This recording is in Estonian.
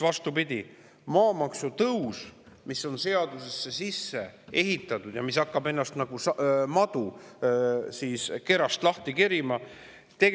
Vastupidi, maamaksu tõus on seadusesse sisse ehitatud ja hakkab ennast nagu madu lahti kerima.